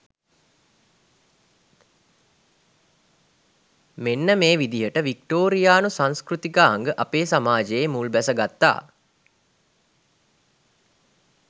මෙන්න මේ විදියට වික්ටෝරියානු සංස්කෘතිකාංග අපේ සමාජයේ මුල්බැස ගත්තා.